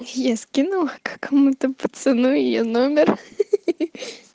я скинула какому-то пацану её номер ха-ха